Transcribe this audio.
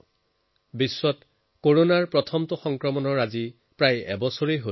প্ৰায় এবছৰ হৈ আছে যেতিয়া পৃথিৱীয়ে কৰোণাৰ প্ৰথম কেছৰ বিষয়ে জানিব পাৰিছিল